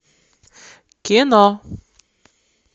кино